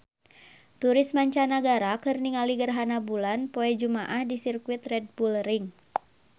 Turis mancanagara keur ningali gerhana bulan poe Jumaah di Sirkuit Red Bull Ring